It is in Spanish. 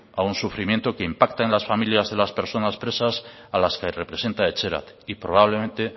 a un sufrimiento que impacta en las familias de las personas presas a las que representa etxerat y probablemente